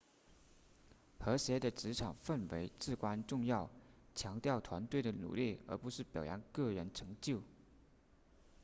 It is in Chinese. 和谐的职场氛围至关重要强调团队的努力而不是表扬个人成就